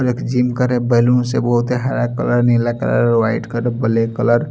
और एक जिम करे बैलून से बहोत हरा कलर नीला colour white colour black colour --